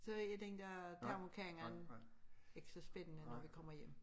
Så er den dér termokanden ikke så spændende når vi kommer hjem